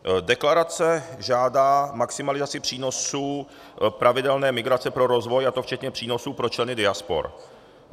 Deklarace žádá maximalizaci přínosů pravidelné migrace pro rozvoj, a to včetně přínosů pro členy diaspor.